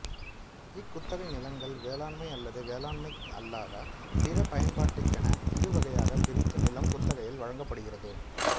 இக்குத்தகை நிலங்கள் வேளாண்மை அல்லது வேளாண்மை அல்லாத பிற பயன்பாட்டுக்கென இருவகையாக பிரித்து நிலம் குத்தகையில் வழங்கப்படுகிறது